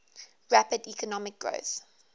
rapid economic growth